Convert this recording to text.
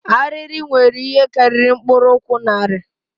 Arịrị nwere ihe karịrị mkpụrụ ụkwụ narị